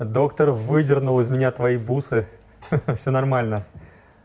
доктор выдернул из меня твои бусы все нормально